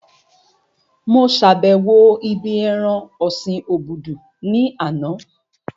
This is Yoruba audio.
Mo sàbẹ̀wo ibí ẹran ọ̀sin obudu ní àná